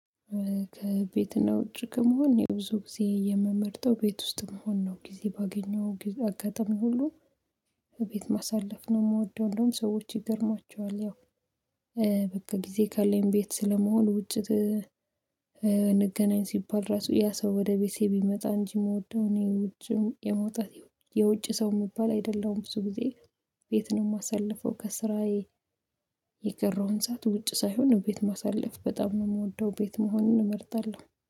ከቤትና ውጭ ከመሆን የብዙ ጊዜ የምመርጠው ቤት ውስጥ መሆን ነው ጊዜ ባገኘው አጋጣሚ ሁሉ ቤት ማሳለፍ ነው። የምወደው እንደውም ሰዎች ይገርማቸዋል ያው በቃ ጊዜ ካለኝ ቤት ስለመሆን ውጭ። እንገናኝ ሲባል ራሱ ያ ሰው ወደ ቤቴ ቢመጣ እንጂ የምወደው እኔ ውጭም የመውጣት የውጭ ሰው መባል አይደለሁም። ብዙ ጊዜ ቤት ነው የማሳልፈው ከስራዬ። የቀረውን ሰዓት ውጭ ሳይሆን ቤት ማሳለፍ በጣም ነው የምወደው ቤት መሆንን እመርጣለሁ